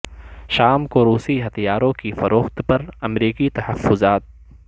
شام کو روسی ہتھیاروں کی فروخت پر امریکی تحفظات